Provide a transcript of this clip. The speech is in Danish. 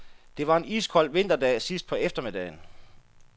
Det var en iskold vinterdag sidst på eftermiddagen.